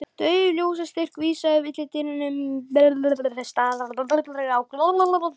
Dauf ljóstýra vísaði villidýrum næturinnar á staðinn hvar þau lágu.